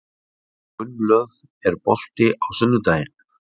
Gunnlöð, er bolti á sunnudaginn?